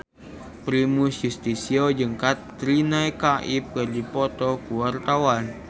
Primus Yustisio jeung Katrina Kaif keur dipoto ku wartawan